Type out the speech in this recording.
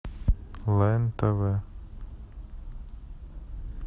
лен тв